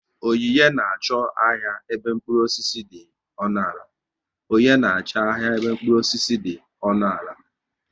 Onyinye na achọ ahịa ebe mkpụrụ osisi dị ọnụ ala